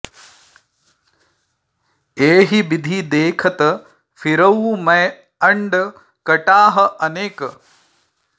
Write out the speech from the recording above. एहि बिधि देखत फिरउँ मैं अंड कटाह अनेक